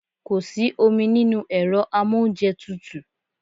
Kò sí omi nínú ẹ̀rọ amóúnjẹtutù.